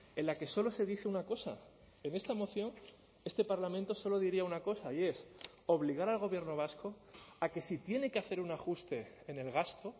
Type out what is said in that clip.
en la que solo se dice una cosa en esta moción este parlamento solo diría una cosa y es obligar al gobierno vasco a que si tiene que hacer un ajuste en el gasto